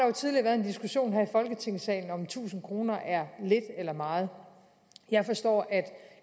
jo tidligere været en diskussion her i folketingssalen om tusind kroner er lidt eller meget jeg forstår